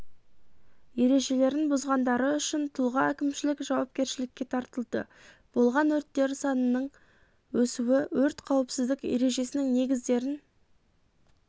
ережелерін бұзғандары үшін тұлға әкімшілік жауапкершілікке тартылды болған өрттер санынын өсуі өрт қауіпсіздік ережесінің негіздерін